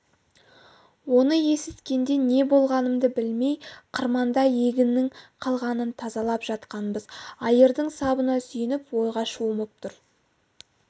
оны есіткенде не болғанымды білмей қырманда егіннің қалғанын тазалап жатқанбыз айырдың сабына сүйеніп ойға шомып тұр